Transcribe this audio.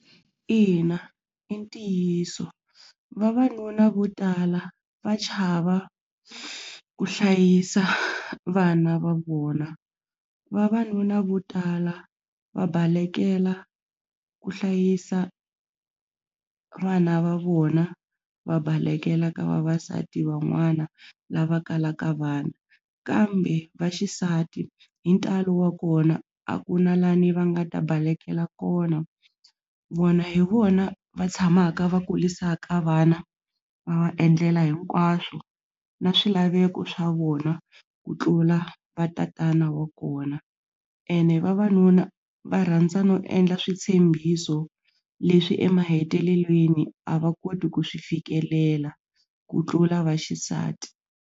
Ina, i ntiyiso vavanuna vo tala va chava ku hlayisa vana va vona vavanuna vo tala va balekela ku hlayisa vana va vona va balekela ka vavasati van'wana lava kalaka vana kambe vaxisati hi ntalo wa kona a ku na lani va nga ta balekela kona vona hi vona va tshamaka va kurisaka vana va endlela hinkwaswo na swilaveko swa vona ku tlula vatatana wa kona ene vavanuna va rhandza no endla switshembiso leswi emahetelelweni a va koti ku swi fikelela ku tlula vaxisati.